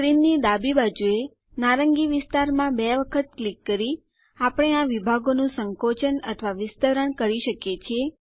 સ્ક્રીનની ડાબી બાજુએ નારંગી વિસ્તારમાં બે વખત ક્લિક કરી આપણે આ વિભાગોનું સંકોચન અથવા વિસ્તરણ કરી શકીએ છીએ